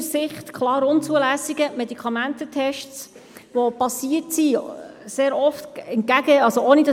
Wer den Antrag für dieses Kreditgeschäft annimmt, stimmt Ja, wer diesen ablehnt, stimmt Nein.